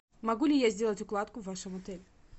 могу ли я сделать укладку в вашем отеле